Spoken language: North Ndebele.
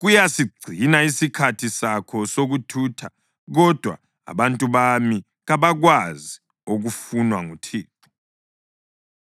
kuyasigcina isikhathi sakho sokuthutha. Kodwa abantu bami kabakwazi okufunwa nguThixo.